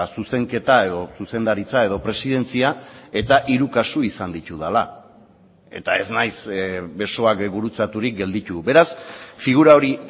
zuzenketa edo zuzendaritza edo presidentzia eta hiru kasu izan ditudala eta ez naiz besoak gurutzaturik gelditu beraz figura hori